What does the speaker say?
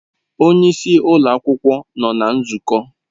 Onye isi ụlọ akwụkwọ nọ na nzukọ.